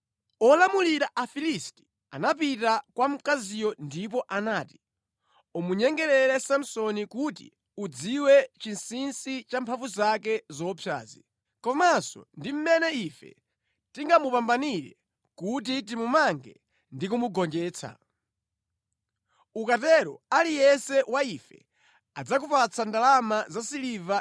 Olamulira Afilisti anapita kwa mkaziyo ndipo anati, “Umunyengerere Samsoni kuti udziwe chinsinsi cha mphamvu zake zoopsazi, komanso ndi mmene ife tingamupambanire kuti timumange ndi kumugonjetsa. Ukatero aliyense wa ife adzakupatsa ndalama zasiliva 1,100.”